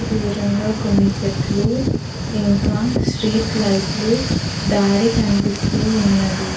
దూరంగా కొన్ని చెట్లు ఇంకా స్ట్రీట్ లైట్లు దారి కనిపిస్తూ ఉన్నది.